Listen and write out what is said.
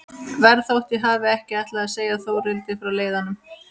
Verð þótt ég hafi ekki ætlað að segja Þórhildi frá leiðanum.